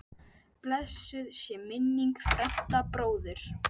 Blessuð sé minning Fredda bróður.